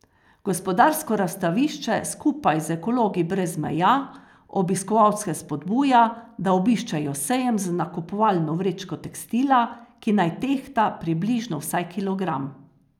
Gospodarsko razstavišče skupaj z Ekologi brez meja obiskovalce spodbuja, da obiščejo sejem z nakupovalno vrečko tekstila, ki naj tehta približno vsaj kilogram.